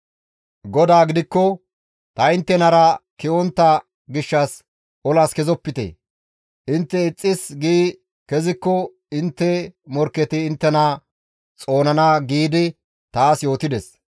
GODAY gidikko, «Ta inttenara ke7ontta gishshas olas kezopite; intte ixxis gi kezikko intte morkketi inttena xoonana» giidi taas yootides.